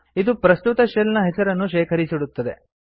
ಇದು ಪ್ರಸ್ತುತ ಶೆಲ್ ನ ಹೆಸರನ್ನು ಶೇಖರಿಸಿಡುತ್ತದೆ